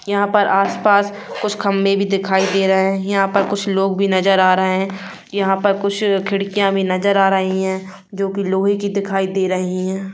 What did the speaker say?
यहाँ पर आस पास कुछ खंबे भी दिखाई दे रहे है यहाँ पर कुछ लोग भी नजर आ रहे है यहाँ पर कुछ खिड़किया भी नजर आ रही है जो की लोहे की दिखाई दे रही है।